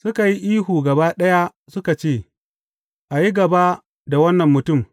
Suka yi ihu gaba ɗaya suka ce, A yi gaba da wannan mutum!